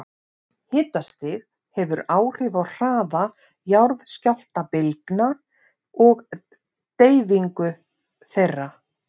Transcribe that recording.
Hitastig hefur áhrif á hraða jarðskjálftabylgna og deyfingu þeirra.